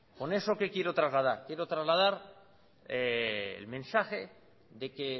con eso qué quiero trasladar quiero trasladar el mensaje de que